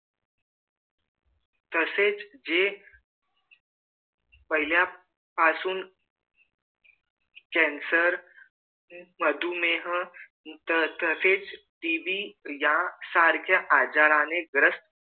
तसेच जे पहिल्या पासून cancer मधुमेह तसेच TB यासारख्या आजाराने ग्रस्थ